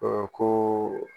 koo